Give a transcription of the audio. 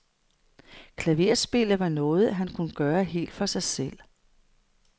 Klaverspillet var noget, han kunne gøre helt for sig selv.